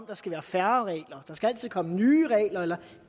der skal være færre regler der skal altid komme nye regler eller